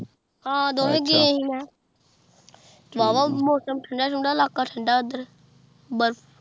ਹਾਂ ਦੋਨੋ ਹੀ ਗਏ ਸੀ ਮੈ ਵਾਵਾ ਮੌਸਮ ਠੰਡਾ ਇਲਾਕਾ ਠੰਡਾ ਐਡਰ ਬਰਫ